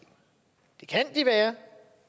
det kan de være